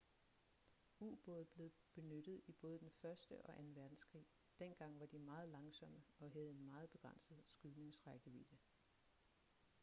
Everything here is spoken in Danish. ubåde blev benyttet i både den første og anden verdenskrig dengang var de meget langsomme og havde en meget begrænset skydnings rækkevidde